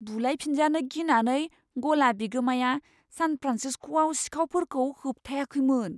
बुलायफिनजानो गिनानै गला बिगोमाया सान फ्रान्सिस्क'आव सिखावफोरखौ होबथायाखैमोन।